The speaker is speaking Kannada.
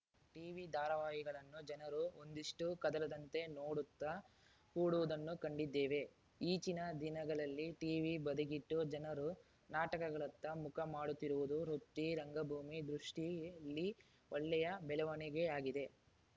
ಟಿವಿ ಧಾರಾವಾಹಿಗಳನ್ನು ಜನರು ಒಂದಿಷ್ಟೂಕದಲದಂತೆ ನೋಡುತ್ತಾ ಕೂಡುವುದನ್ನೂ ಕಂಡಿದ್ದೇವೆ ಈಚಿನ ದಿನಗಳಲ್ಲಿ ಟೀವಿ ಬದಿಗಿಟ್ಟು ಜನರು ನಾಟಕಗಳತ್ತ ಮುಖ ಮಾಡುತ್ತಿರುವುದು ವೃತ್ತಿ ರಂಗಭೂಮಿ ದೃಷ್ಟಿಯಲ್ಲಿ ಒಳ್ಳೆಯ ಬೆಳವಣಿಗೆಯಾಗಿದೆ